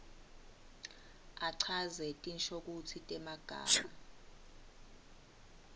achaze tinshokutsi temagama